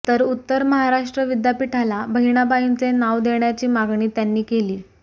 तर उत्तर महाराष्ट्र विद्यापीठाला बहिणाबाईंचे नाव देण्याची मागणी त्यांनी केली